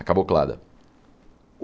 A cablocada.